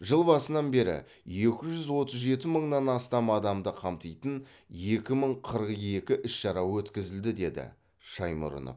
жыл басынан бері екі жүз отыз жеті мыңнан астам адамды қамтитын екі мың қырық екі іс шара өткізілді деді шаймұрынов